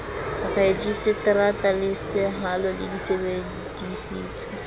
rejisetara le sehalo di sebedisitswe